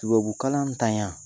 Tubabukalan ntanya